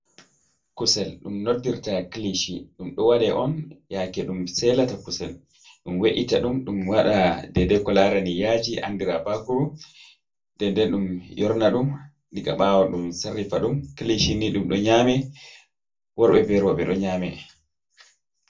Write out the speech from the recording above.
Kusel ɗum noddirta kilishi, ɗum ɗo waɗa on yake ɗum selata kusel ɗum we’ita ɗum ɗum waɗa dei dei ko larani yaji andira bakuru den den ɗum yorna ɗum diga ɓawo ɗum sarrifa ɗum, kilishi ni ɗum ɗo nyame worɓɓe be roɓɓe ɗo nyame.